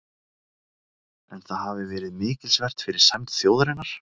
en það hafi verið mikilsvert fyrir sæmd þjóðarinnar